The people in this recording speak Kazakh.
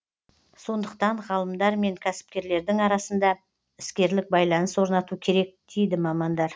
сондықтан ғалымдар мен кәсіпкерлердің арасында іскерлік байланыс орнату керек дейді мамандар